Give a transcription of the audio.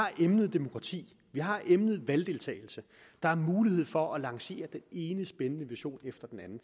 har emnet demokrati vi har emnet valgdeltagelse der er mulighed for at lancere den ene spændende vision efter den anden